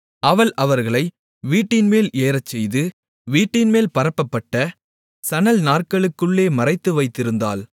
அவள் அவர்களை வீட்டின்மேல் ஏறச்செய்து வீட்டின்மேல் பரப்பப்பட்ட சணல் நார்களுக்குள்ளே மறைத்து வைத்திருந்தாள்